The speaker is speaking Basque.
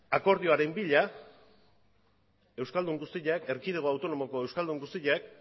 akordioaren bila euskaldun guztiak erkidego autonomoko euskaldun guztiak